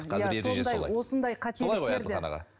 қазір ереже солай осындай солай ғой әділхан аға